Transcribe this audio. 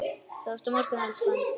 Sjáumst á morgun, elskan.